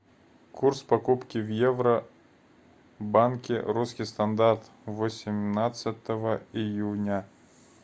курс покупки в евро банке русский стандарт восемнадцатого июня